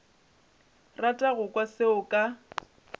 rata go kwa selo ka